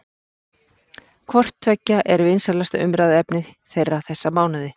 Hvort tveggja er vinsælasta umræðuefni þeirra þessa mánuði.